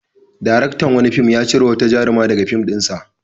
Daraktan wani fim ya cire wata jaruma daga fim ɗinsa.